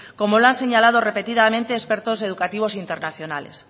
como lo han señalado repetidamente expertos educativos internacionales